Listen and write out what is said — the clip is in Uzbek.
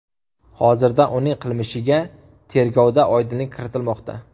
Hozirda uning qilmishiga tergovda oydinlik kiritilmoqda.